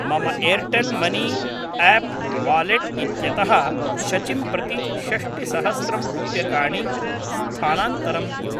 मम Airtel money app wallet इत्यतः शचिं प्रति षष्टिसहस्रं रूप्यकाणि स्थानान्तरं कुरु।